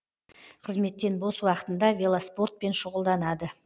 қызметтен бос уақытында велоспортпен шұғылданады